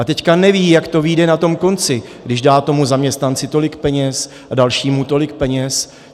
A teď neví, jak to vyjde na tom konci, když dá tomu zaměstnanci tolik peněz a dalšímu tolik peněz.